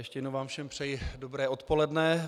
Ještě jednou vám všem přeji dobré odpoledne.